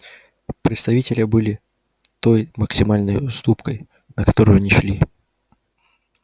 представители были той максимальной уступкой на которую они шли